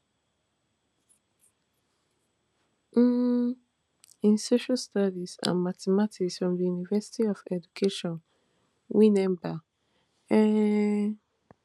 um in social studies and mathematics from di university of education winneba um